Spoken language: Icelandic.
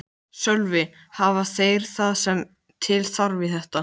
Í andlitum þeirra tókst efinn á við aðdáunina.